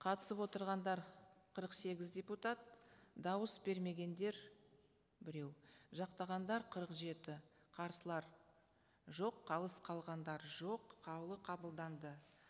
қатысып отырғандар қырық сегіз депутат дауыс бермегендер біреу жақтағандар қырық жеті қарсылар жоқ қалыс қалғандар жоқ қаулы қабылданды